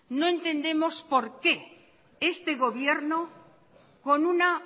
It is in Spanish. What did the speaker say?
no entendemos por qué este gobierno con una